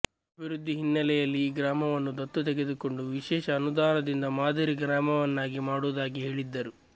ಅಭಿವೃದ್ಧಿ ಹಿನ್ನೆಲೆಯಲ್ಲಿ ಈ ಗ್ರಾಮವನ್ನು ದತ್ತು ತೆಗೆದುಕೊಂಡು ವಿಶೇಷ ಅನುದಾನದಿಂದ ಮಾದರಿ ಗ್ರಾಮವನ್ನಾಗಿ ಮಾಡುವುದಾಗಿ ಹೇಳಿದ್ದರು